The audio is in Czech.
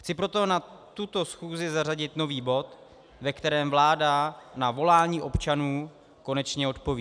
Chci proto na tuto schůzi zařadit nový bod, ve kterém vláda na volání občanů konečně odpoví.